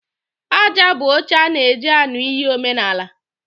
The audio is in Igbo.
Aja bụ oche a na eji aṅụ iyi omenala.